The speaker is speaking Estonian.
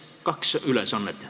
Siin on kaks ülesannet.